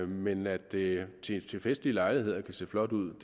men at det til festlige lejligheder kan se flot ud